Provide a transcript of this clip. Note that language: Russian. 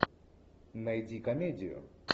найди комедию